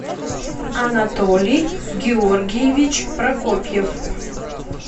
анатолий георгиевич прокопьев